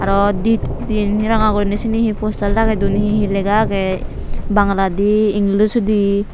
aro di hittedi ranga guriney sini he poster lageyi dun he he lega age bangaladi english odi.